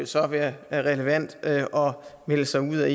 så være relevant at melde sig ud af